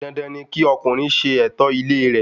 Dandan ni kí ọkùnrin ṣe ẹ̀tọ́ ilé re